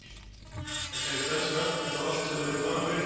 Það gerðist eldsnöggt, eins og allt hefði verið planað fyrirfram.